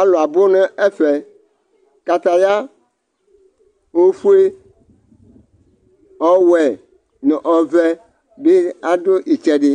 Alʋ abʋ nʋ ɛfɛ Kataya ofue, ɔwɛ, nʋ ɔvɛ bɩ adu ɩtsɛdɩ